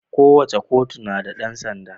Kowace kotu na da dan sanda.